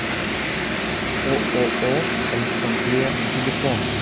ооо александрия телефон